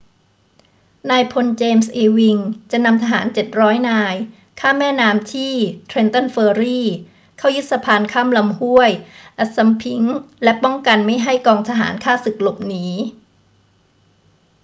นายพล james ewing จะนำทหาร 700 นายข้ามแม่น้ำที่ trenton ferry เข้ายึดสะพานข้ามลำห้วย assunpink และป้องกันไม่ให้กองทหารข้าศึกหลบหนี